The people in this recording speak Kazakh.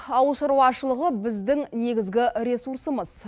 ауыл шаруашылығы біздің негізгі ресурсымыз